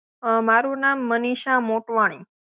અં મારું નામ મનિષા મોટવાણી.